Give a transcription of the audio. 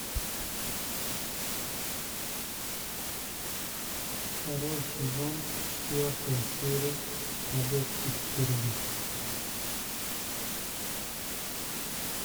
второй сезон четвертая серия побег из тюрьмы